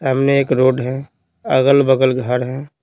सामने एक रोड है अगल-बगल घर है।